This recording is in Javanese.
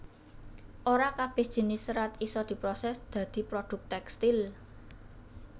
Ora kabèh jinis serat isa diprosès dadi produk tèkstil